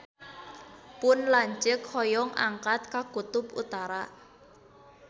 Pun lanceuk hoyong angkat ka Kutub Utara